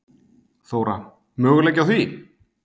Þóra: Möguleiki á því?